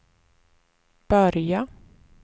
börja